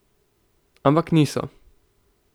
Ampak niso.